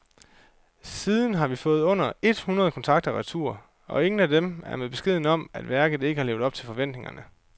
Siden har vi fået under et hundrede kontrakter retur, og ingen af dem er med beskeden om, at værket ikke har levet op til forventningerne.